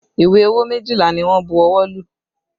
Ìwé owó méjìlá ni wọ́n bu ọwọ́ lù